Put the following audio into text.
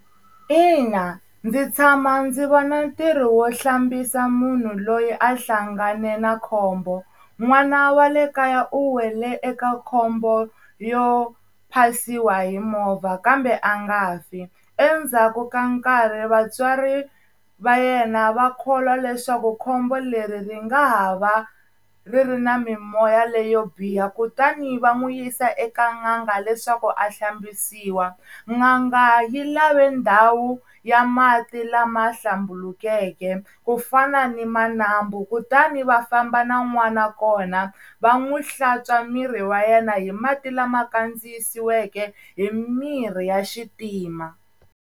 Ina ndzi tshama ndzi vona ntirho wo hlambisa munhu loyi a hlangane na khombo. N'wana wa le kaya u wele eka khombo yo phasiwa hi movha kambe a nga fi. Endzhaku ka nkarhi vatswari va yena va kholwa leswaku khombo leri ri nga ha va ri ri na mimoya leyo biha. Kutani va n'wi yisa eka n'anga leswaku a hlambisiwa. N'anga yi lave ndhawu ya mati lama hlambukeke ku fana ni ma nambu, kutani va famba na n'wana kona va n'wi hlantswa miri wa yena hi mati lama kandziyisiweke hi mirhi ya xitima.